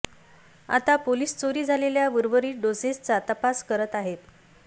आता पोलिस चोरी झालेल्या उर्वरीत डोसेसचा तपास करत आहेत